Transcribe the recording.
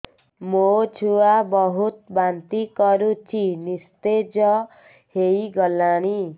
ମୋ ଛୁଆ ବହୁତ୍ ବାନ୍ତି କରୁଛି ନିସ୍ତେଜ ହେଇ ଗଲାନି